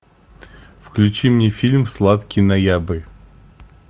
включи мне фильм сладкий ноябрь